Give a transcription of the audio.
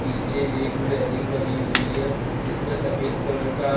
पीछे एक रेलिंग बनी हुई है जिस पर सफेद कलर का